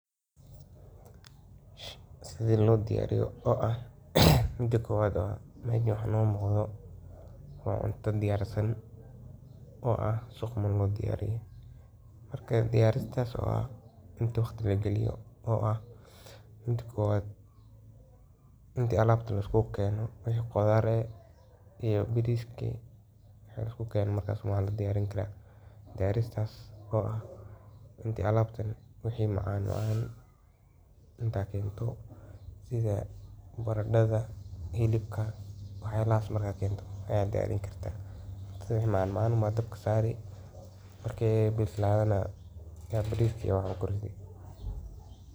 Sida loo diyariyo midda kowaad oo ah Marka hore, hilibka jar oo ku kari biyo leh, ku dar toon, basal, iyo xawaash. Marka uu hilibku bislaado, shiil bariiska si fudud, kadibna ku dar biyihii hilibka lagu kariyey. Ku dar milix iyo yaanyo, dabadeedna ha u bislaado ilaa uu biyaha liqo. Ugu dambeyn, hilibka saar dusha oo kari ilaa uu bariisku si fiican u bislaado.